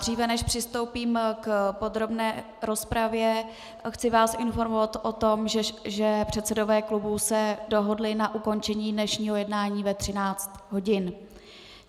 Dříve než přistoupím k podrobné rozpravě, chci vás informovat o tom, že předsedové klubů se dohodli na ukončení dnešního jednání ve 13 hodin.